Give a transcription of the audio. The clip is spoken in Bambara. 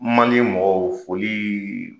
Man ni mɔgɔw foli